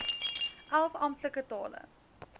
elf amptelike tale